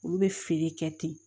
Olu bɛ feere kɛ ten